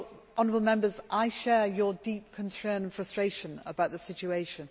Honourable Members, I share your deep concern and frustration about the situation.